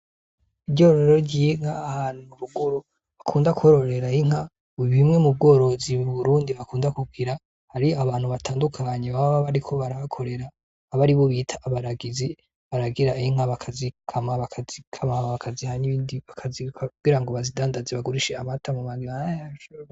Iryororo ry'inka ahantu ruguru bakunda kwororera inka mubimwe mu bworozi i burundi bakunda kugira har'abantu batandukanyi baba bariko barahakorera abe ari bo bita abaragizi baragira inka bakazi kama bakaziha nibindi kugira ngo bazidandazi bagurishe amata mu magara yacu.